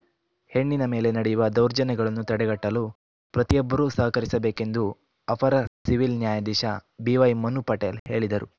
ಹೆಣ್ಣಿನ ಮೇಲೆ ನಡೆಯುವ ದೌರ್ಜನ್ಯಗಳನ್ನು ತಡೆಗಟ್ಟಲು ಪ್ರತಿಯೊಬ್ಬರೂ ಸಹಕರಿಸಬೇಕೆಂದು ಅಪರ ಸಿವಿಲ್‌ ನ್ಯಾಯಾಧೀಶ ಬಿವೈ ಮನು ಪಟೇಲ್‌ ಹೇಳಿದರು